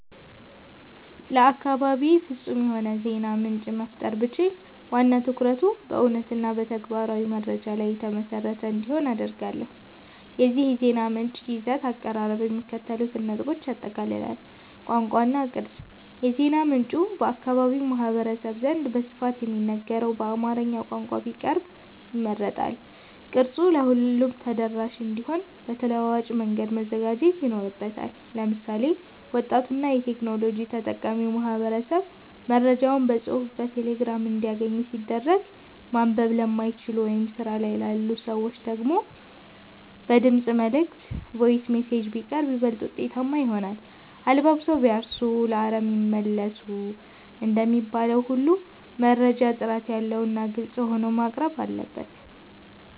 ለአካባቤ ፍጹም የሆነ የዜና ምንጭ መፍጠር ብችል፣ ዋና ትኩረቱ በእውነትና በተግባራዊ መረጃ ላይ የተመሰረተ እንዲሆን አደርጋለሁ። የዚህ የዜና ምንጭ ይዘትና አቀራረብ የሚከተሉትን ነጥቦች ያጠቃልላል፦ ቋንቋ እና ቅርጸት፦ የዜና ምንጩ በአካባቢው ማህበረሰብ ዘንድ በስፋት በሚነገረው በአማርኛ ቋንቋ ቢቀርብ ይመረጣል። ቅርጸቱም ለሁሉም ተደራሽ እንዲሆን በተለዋዋጭ መንገድ መዘጋጀት ይኖርበታል። ለምሳሌ፣ ወጣቱና የቴክኖሎጂ ተጠቃሚው ማህበረሰብ መረጃዎችን በጽሑፍ በቴሌግራም እንዲያገኝ ሲደረግ፣ ማንበብ ለማይችሉ ወይም ስራ ላይ ላሉ ሰዎች ደግሞ በድምፅ መልዕክት (Voice Messages) ቢቀርብ ይበልጥ ውጤታማ ይሆናል። "አለባብሰው ቢያርሱ በአረም ይመለሱ" እንደሚባለው ሁሉ፣ መረጃው ጥራት ያለውና ግልጽ ሆኖ መቅረብ አለበት።